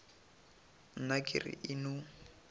nna ke re e no